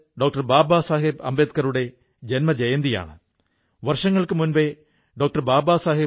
ഈ ഇച്ഛാശക്തിതന്നെയാണ് പല യുവാക്കൾക്കും അസാധാരണമായ കാര്യങ്ങൾ ചെയ്യാൻ ശക്തിപകരുന്നത്